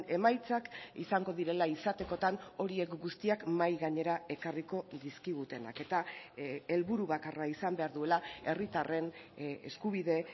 emaitzak izango direla izatekotan horiek guztiak mahai gainera ekarriko dizkigutenak eta helburu bakarra izan behar duela herritarren eskubide